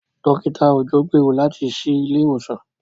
Dókítà Òjó gbèrò láti ṣí ilé ìwòsàn.